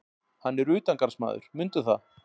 Hann er utangarðsmaður, mundu það.